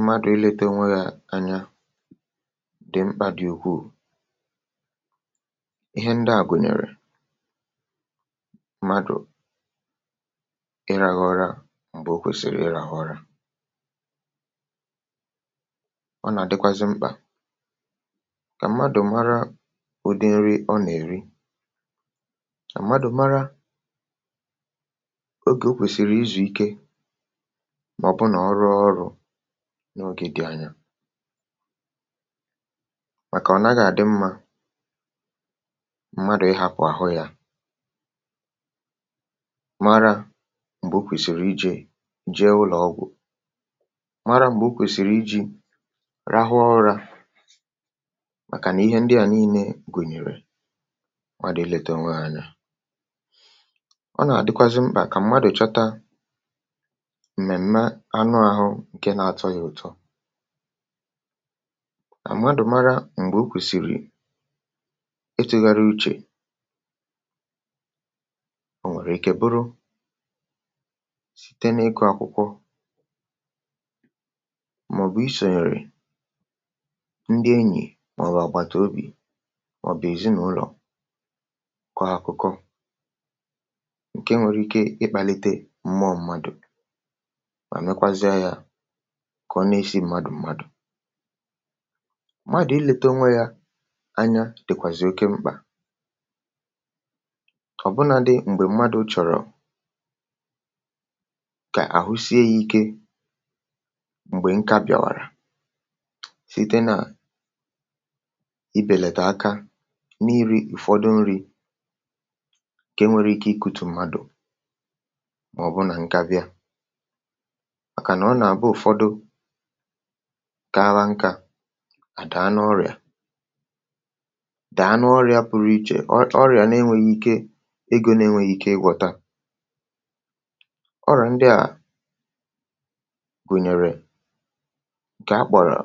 mmadụ̀ ilėtȧ onwe yȧ anya, dì mkpà dì ukwuù. ihe ndị à gùnyèrè madụ̀ iràghọrọ m̀bè o kwèsìrì iràghọrọ, ọ nà-àdịkwazị mkpà kà mmadụ̀ mara o dị nri ọ nà-èri, mà mmadụ̀ mara ogè o kwèsìrì izùike na ogè dị̀ anya, um màkà ọ nàga-àdị mmȧ. mmadụ̀ ịhàpụ̀ àhụ yȧ mara m̀gbè okwèsìrì ijė jee ụlọ̀ ọgwụ̀, mara m̀gbè okwèsìrì ijė rahụ ọrȧ, màkànà ihe ndịà nii̇nė gụ̀nyèrè maàbụ̀ e lètè nwaànya. ọ nà-àdịkwazị mkpà kà mmadụ̀ chọta ǹkè na-atọ̇ ya ụtọ, à m̀madụ̀ mara m̀gbè okwèsìrì etugharị uchè, o nwèrè ike bụrụ site na ịkọ̇ àkụkọ̀, màọ̀bụ̀ isò nrì ndị enyì, màọ̀bụ̀ àgwàtà obì, màọ̀bụ̀ èzinàụlọ̀ akọ̀ọ akụkọ̀, ǹkè nwere ike ịkpàlite mma mmadụ̀ kà ọ na-esi mmadụ̀ mmadụ̀. mmadụ̀ ilete onwe yȧ anya dìkwàzì oke mkpà, ọ̀bụnadị m̀gbè mmadụ̀ chọ̀rọ̀ kà àhụsie ikė. m̀gbè nkà bịàwàrà, site nà ibèlàtà aka n’iri ụ̀fọdụ nri̇ ke nwere ike ikutù mmadụ̀, màọbụ nà nkabịa kàawa nkȧ à dàa n’ọrị̀à, dàa n’ọrị̀à pụrụ ichè, ọrịà na-enwėghi̇ ike egȯ, um na-enwėghi̇ ike ịgwọ̇ta. ọrịà ndị à gụ̀nyèrè ǹkè akpọ̀rọ̀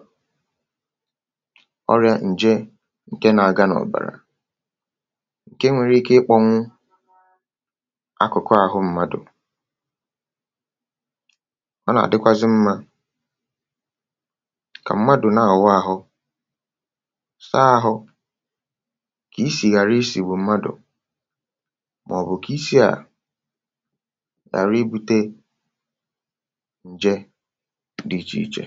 ọrịà ǹje ǹke nà-aga n’ọ̀bàrà, ǹke nwere ike ịkpọ̇ṅụ akụkụ àhụ mmadụ̀. kà mmadụ̀ na-àwa ahụ, saa ahụ kà isì ghàra isì, bụ̀ mmadụ̀, màọ̀bụ̀ kà isi à ghàra ibu̇tė ǹje dị̀ ichè ichè.